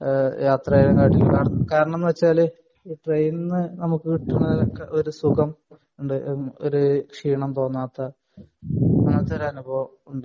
മറ്റുള്ള യാത്രയേക്കാളും കാരണം എന്താണെന്നു വച്ചാൽ ട്രെയിനിൽനിന്നു നമുക്ക് കിട്ടുന്ന ഒരു സുഖം ഒരു ക്ഷീണം തോന്നാത്ത അങ്ങനത്തെ ഒരു അനുഭവം ഉണ്ട്